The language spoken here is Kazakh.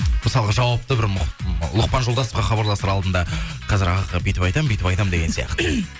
мысалға жауапты бір лұқпан жолдасовқа хабарласар алдында қазір ағаға бүйтіп айтамын бүйтіп айтамын деген сияқты